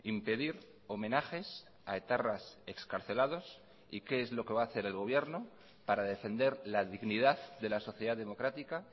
impedir homenajes a etarras excarcelados y qué es lo que va a hacer el gobierno para defender la dignidad de la sociedad democrática